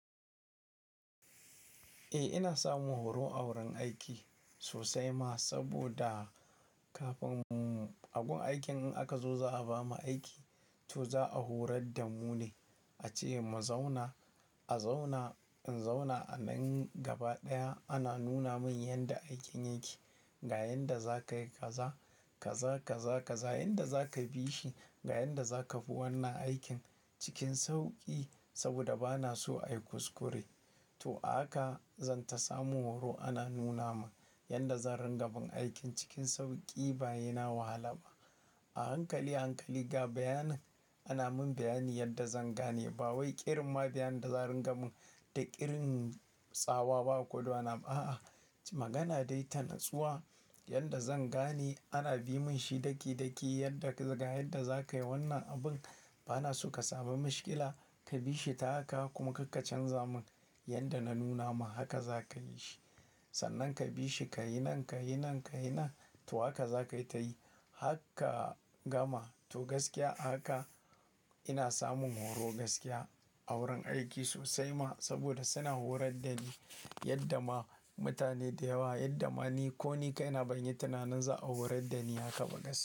Eh, ina samun horo a wurin aiki sosai ma. Saboda kafin, a gun aikin in aka zo za a bamu aiki, to za a horar da mu ne, ace mu zauna. A zaunaz in zauna a nan gaba ɗaya ana nuna min yanda aikin yake, ga yanda zaka yi kaza, kaza, kaza, kaza, yanda zaka bi shi, ga yanda zaka bi wannan aikin cikin sauƙi. Saboda bana so ayi kuskure. To a haka zan ta samun horo ana nuna min yanda zan ringa bin aikin cikin sauƙi ba sai na wahala ba. A hankali, a hankali ga bayanin, ana min bayani yanda zan gane. Ba wai irin ma bayanin da za a ringa min da irin tsawa ba ko da wani abu a'a. Magana dai ta natsuwa yanda zan gane ana bi mun shi daki daki yanda, ga yanda zaka yi wannan abun. Bana so ka samu mishkila, kabi shi ta haka kuma kar ka canza mun yanda na nuna ma, haka zaka yi shi. Sannan kabi shi kayi nan, kayi nan, kayi nan, to haka za ka yi ta yi. Har ka gamaz to gaskiya a haka ina samun horo gaskiya a wurin aiki sosai ma. Saboda suna horar da ni yanda ma mutane da yawa, yanda ma ni ko ni kaina ban yi tunanin za a horar da ni haka ba gaskiya.